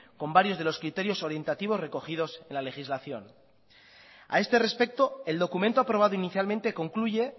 con varios de los criterios orientativos recogidos en la legislación a este respecto el documento aprobado inicialmente concluye